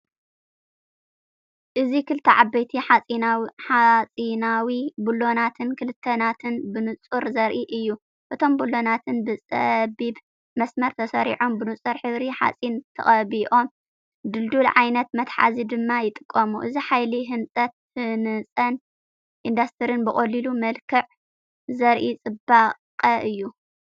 እዚ ክልተ ዓበይቲ ሓጺናዊ ብሎናትን ክልተ ናትን ብንጹር ዘርኢ እዩ። እቶም ብሎናትን ብጸቢብ መስመር ተሰሪዖም፡ ብንጹር ሕብሪ ሓጺን ተቐቢኦም፡ ድልዱል ዓይነት መትሓዚ ድማ ይጥቀሙ። እዚ ሓይሊ ህንጻን ኢንዱስትሪን ብቐሊል መልክዕ ዘርኢ ጽባቐ እዩ።